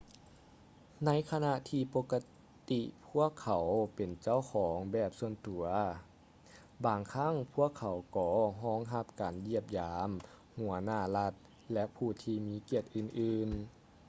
ໃນຂະນະທີປົກກະຕິກພວກເຂົາເປັນເຈົ້າຂອງແບບສ່ວນຕົວ ບາງຄັ້ງພວກເຂົາກໍຮອງຮັບການຢ້ຽມຢາມຫົວໜ້າລັດ ແລະ ຜູ້ທີ່ມີກຽດອື່ນໆ